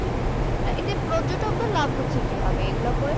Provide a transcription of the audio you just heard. না এতে পর্যটকদের লাভ হচ্ছে কি ভাবে এইগুলো করে?